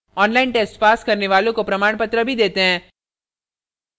online test pass करने वालों को प्रमाणपत्र भी देते हैं